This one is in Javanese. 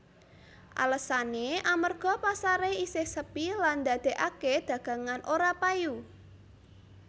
Alesané amérga pasaré isih sepi lan ndadèkaké dagangan ora payu